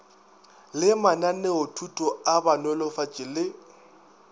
le mananeothuto a banolofatši le